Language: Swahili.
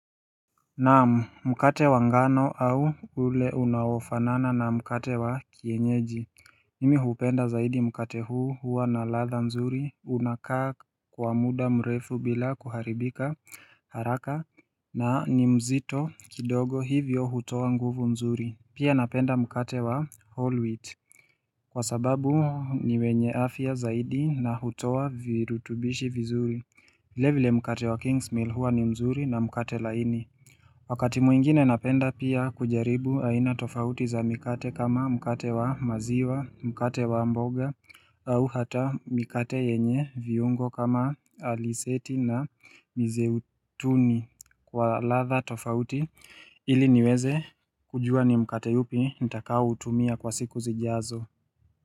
Naam mkate wa ngano au ule unaofanana na mkate wa kienyeji Nimi hupenda zaidi mkate huu huwa na latha nzuri unakaa kwa muda mrefu bila kuharibika haraka na ni mzito kidogo hivyo hutoa nguvu nzuri Pia napenda mkate wa holwit Kwa sababu huu ni wenye afya zaidi na hutoa virutubishi vizuri vile vile mkate wa king's meal huwa ni mzuri na mkate laini Wakati mwingine napenda pia kujaribu aina tofauti za mikate kama mikate wa maziwa, mikate wa mboga au hata mikate yenye viungo kama aliseti na mizeutuni kwa latha tofauti ili niweze kujua ni mikate upi nitakao utumia kwa siku zijazo.